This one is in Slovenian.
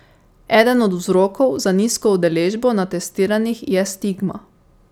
Eden od vzrokov za nizko udeležbo na testiranjih je stigma.